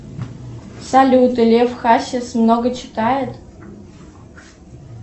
салют лев хасис много читает